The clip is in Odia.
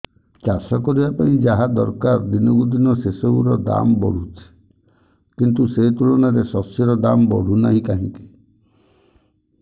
ଚାଷ କରିବା ପାଇଁ ଯାହା ଦରକାର ଦିନକୁ ଦିନ ସେସବୁ ର ଦାମ୍ ବଢୁଛି କିନ୍ତୁ ସେ ତୁଳନାରେ ଶସ୍ୟର ଦାମ୍ ବଢୁନାହିଁ କାହିଁକି